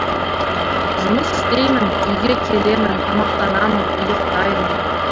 жұмыс істеймін үйге келемін тамақтанамын ұйықтаймын